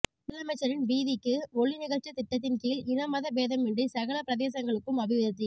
முதலமைச்சரின் வீதிக்கு ஔி நிகழ்ச்சித் திட்டத்தின் கீழ் இன மத பேதமின்றி சகல பிரதேசங்ளுக்கும் அபிவிருத்தி